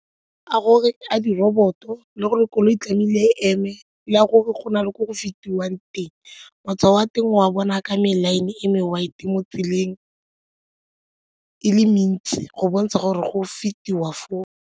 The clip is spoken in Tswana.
A gore a diroboto le gore koloi tlamehile e eme le a gore go na le ko go feta tswang teng matshwao wa teng o a bona ka mela e me, white mo tseleng e le mentsi go bontsha gore go fetiwa foo.